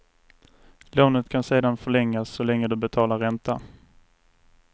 Lånet kan sedan förlängas så länge du betalar ränta.